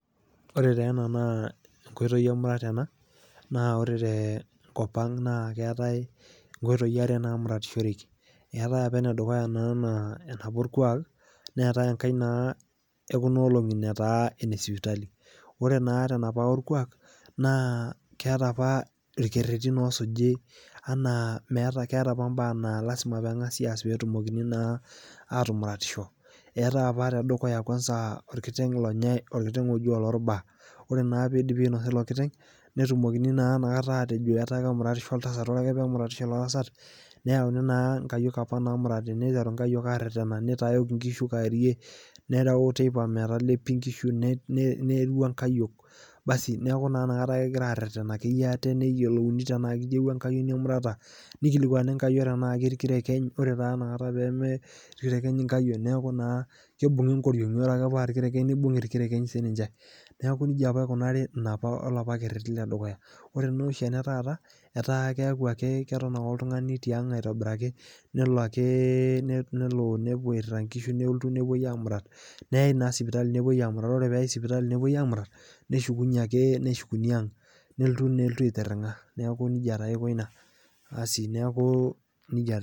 ore taa ena naa enkoitoi emurata ena, ore te nkop ang' naa keetae inkoitoi kumok naa muratishoreki, ore ene dukuya naa enapa orkuaak, neetae enkae naa, ekuna olong'i nataa ene sipitali, ore taa enapa orkuaak naa keetae irkeretin oosuji anaa, meeta, keeta apa mbaa naa lasima pee eng'asi aas, pee etumokini naa atumaratisho. etaae apa naa tedukuya, orkiteng' lonyae, orkiteng'oji oloorbaa. ore naa pee eidipi ainosa ilo kiteng'.netumokini naa ina kata aatejo keuratiso oltasat. neyauni naa nkayiok apa naamurati. niteru nkayiok aareteana nitayok nkishu kaarie, neeu teipa metalepi. nerua nkayiok. neeku naa inakata, kegira aaretena ate neyiolouni tenaa kitieuwuo enkayioni emurata, nikilikuani nkayiok tenaa ketii tayari nkayiok. neeku naa kibung'i inkoriong'i.